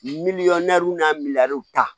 Miliyɔn n'a miiriya ta